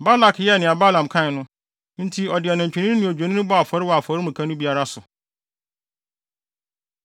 Balak yɛɛ nea Balaam kae no, enti ɔde nantwinini ne odwennini bɔɔ afɔre wɔ afɔremuka no biara so.